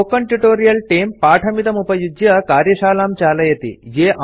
spoken tutorial तेऽं पाठमिदमुपयुज्य कार्यशालां चालयति